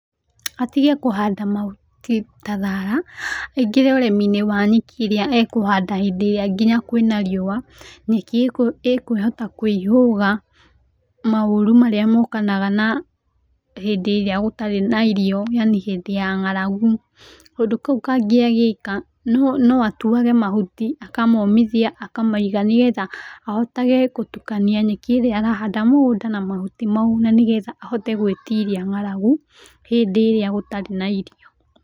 Atige kũhanda mahuti ta thara, aingĩre ũrĩmi-inĩ wa nyeki ĩrĩa ekũhanda hĩndĩ ĩrĩa nginya kwĩna riũa. Nyeki ĩkwĩhota kũĩhũga maũru marĩa mokanaga na hĩndĩ ĩrĩa gũtarĩ na irio yani hĩndĩ ya nga’ragu. Kaũndũ kau kangĩ angĩka no atuage mahuti aka momĩthia aka maiga, nĩgetha ahotage gũtukania nyeki ĩrĩa ara handa mũgũnda na mahuti mau, na nĩgetha ahote gwĩtiria ng’aragu hĩndĩ ĩrĩa gũtarĩ na irio.